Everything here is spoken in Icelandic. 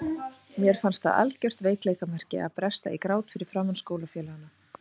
Mér fannst það algjört veikleikamerki að bresta í grát fyrir framan skólafélagana.